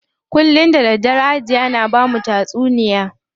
Kullum da daddare Hajiya na bamu tatsuniya.